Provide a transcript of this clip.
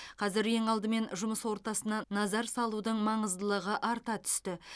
қазір ең алдымен жұмыс ортасына назар салудың маңыздылығы арта түсті